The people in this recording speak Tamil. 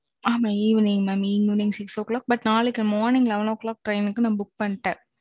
ஆமா Evening ஆறு மணிக்கு but நாளைக்கு Morning பதினோரு மணிக்கு Train Book பண்ணிட்டேன்